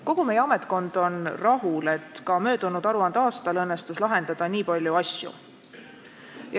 Kogu meie ametkond on rahul, et ka möödunud aruandeaastal õnnestus lahendada nii palju asju.